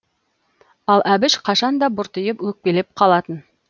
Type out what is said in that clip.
ал әбіш қашанда бұртиып өкпелеп қалатын